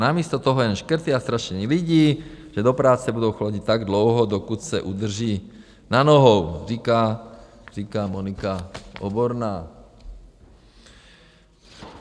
Namísto toho jen škrty a strašení lidí, že do práce budou chodit tak dlouho, dokud se udrží na nohou, říká Monika Oborná.